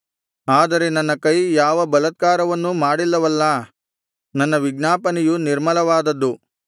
ಆದರೆ ನನ್ನ ಕೈ ಯಾವ ಬಲಾತ್ಕಾರವನ್ನೂ ಮಾಡಿಲ್ಲವಲ್ಲಾ ನನ್ನ ವಿಜ್ಞಾಪನೆಯು ನಿರ್ಮಲವಾದದ್ದು